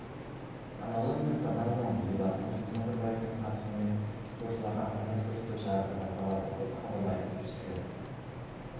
санаулы минуттардан соң елбасы нұрсұлтан назарбаевтың қатысуымен спортшыларға құрмет көрсету шарасы басталады деп хабарлайды тілшісі